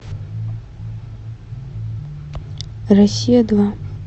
россия два